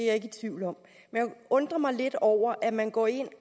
jeg ikke i tvivl om men undrer mig lidt over at man går ind